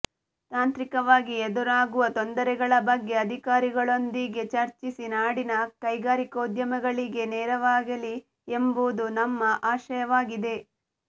ತಾಂತ್ರಿಕವಾಗಿ ಎದುರಾಗುವ ತೊಂದರೆಗಳ ಬಗ್ಗೆ ಅಧಿಕಾರಿಗಳೊಂದಿಗೆ ಚರ್ಚಿಸಿ ನಾಡಿನ ಕೈಗಾರಿಕೋದ್ಯಮಿಗಳಿಗೆ ನೆರವಾಗಲಿ ಎಂಬುದು ನಮ್ಮ ಆಶಯವಾಗಿದೆ